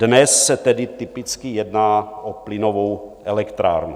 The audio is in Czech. Dnes se tedy typicky jedná o plynovou elektrárnu.